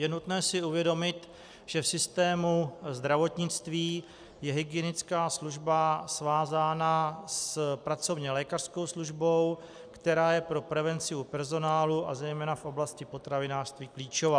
Je nutné si uvědomit, že v systému zdravotnictví je hygienická služba svázána s pracovně lékařskou službou, která je pro prevenci u personálu a zejména v oblasti potravinářství klíčová.